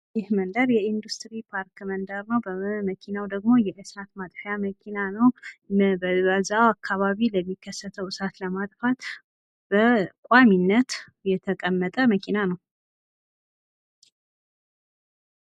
ይህ መንደር የኢንዱስትሪ ፓርክ መንደር ነው። መኪናው ደሞ የእሳት ማጥፊያ መኪና ነው። በዛው አካባቢ ለሚከሰተው እሳት ለማጥፋት በቋሚነት የተቀመጠ መኪና ነው።